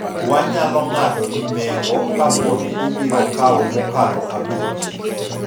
wanyalo ng'ado ni nengo kapo ni ibiro kawo mokalo abich